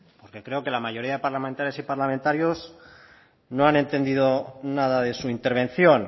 porque creo que la mayoría de parlamentarias y parlamentarios no han entendido nada de su intervención